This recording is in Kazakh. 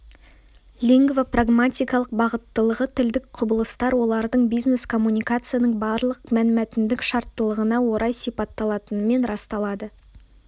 лингвопрагматикалық бағыттылығы тілдік құбылыстар олардың бизнес-коммуникацияның барлық мәнмәтіндік шарттылығына орай сипатталатынымен расталады